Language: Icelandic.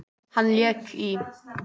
Hann lék í